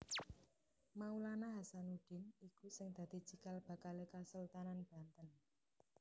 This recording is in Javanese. Maulana Hasanuddin iku sing dadi cikal bakalé Kasultanan Banten